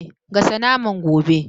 Gasa naman gobe